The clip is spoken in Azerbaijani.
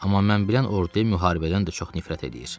Amma mən bilən, orduya müharibədən də çox nifrət eləyir.